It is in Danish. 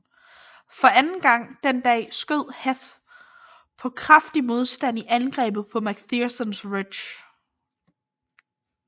For anden gang den dag stødte Heth på kraftig modstand i angrebet på Mc Phersons Ridge